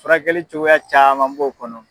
Furakɛli cogoya caman b'o kɔnɔ.